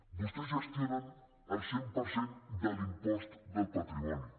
vostès gestionen el cent per cent de l’impost del patrimoni